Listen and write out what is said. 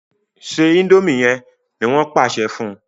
se indomie yén! ní wón pàṣẹ fún